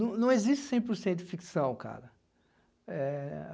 Não não existe cem por cento ficção, cara.